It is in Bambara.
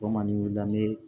O mandi dan ne ye